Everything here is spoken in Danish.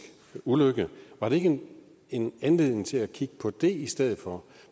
ulykke var der ikke en anledning til at kigge på det i stedet for